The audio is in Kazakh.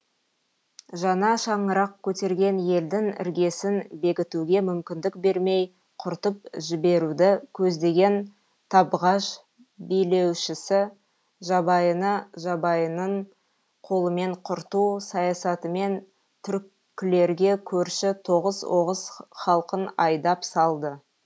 жаңа шаңырақ көтерген елдің іргесін бекітуге мүмкіндік бермей құртып жіберуді көздеген табғаш билеушісі жабайыны жабайының қолымен құрту саясатымен түркілерге көрші тоғыз оғыз халқын айдап салды